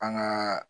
An ŋaa